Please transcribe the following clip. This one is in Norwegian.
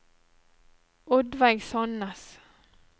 Oddveig Sannes